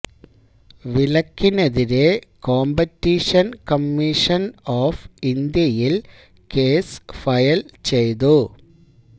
വിലക്കിനെതിരേ Competition Commission of ഇന്ത്യയില് case file ചെയ്തു